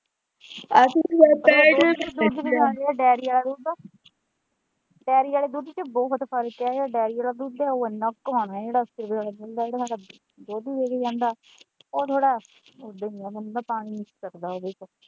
Dairy ਆਲੇ ਦੁੱਧ ਚ ਬਹੁਤ ਫਰਕ ਹੈ ਇਹੇ ਡੇਅਰੀ ਆਲਾ ਦੁੱਧ ਇੰਨਾ ਘਣਾ ਹੁੰਦਾ ਦੋਧੀ ਦੇ ਕੇ ਜਾਂਦਾ ਉਹ ਥੋੜਾ ਇਦਾਂ ਹੀ ਹੈ ਮਤਲਬ ਪਾਣੀ ਨਹੀਂ ਇਹਦੇ ਵਿੱਚ।